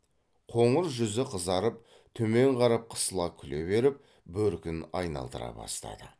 қоңыр жүзі қызарып төмен қарап қысыла күле беріп бөркін айналдыра бастады